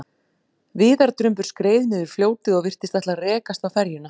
Viðardrumbur skreið niður fljótið og virtist ætla að rekast á ferjuna.